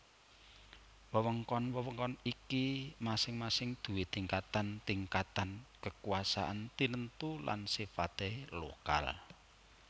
Wewengkon wewengkon iki masing masing duwé tingkatan tingkatan kekuasaan tinentu lan sifate lokal